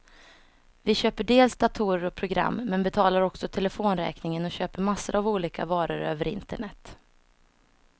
Vi köper dels datorer och program, men betalar också telefonräkningen och köper massor av olika varor över internet.